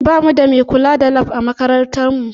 Ba mu da mai kula da Lab a makarantar mu